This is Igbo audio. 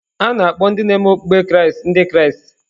A na-akpọ ndị ne-me okpụkpe Kraịst Ndị Kraịst.